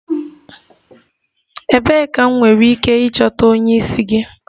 Ebee ka m nwere ike ịchọta onye isi gị?